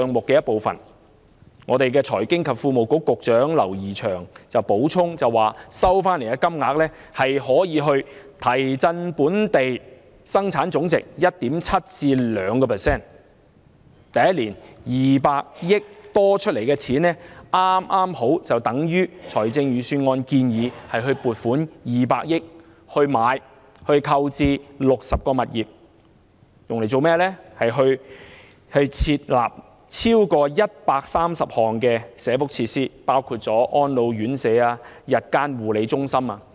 財經事務及庫務局局長劉怡翔補充，收回的金額可以提振本地生產總值 1.7% 至 2%， 第一年多出的200億元剛好相等於預算案建議撥款200億元購置60個物業，以供設立超過130項社福設施，當中包括安老院舍、日間護理中心等。